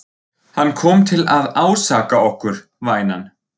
Hann kom til að ásaka okkur, vænan.